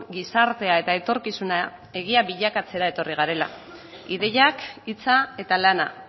gizartea eta etorkizuna egia bilakatzera etorri garela ideiak hitza eta lana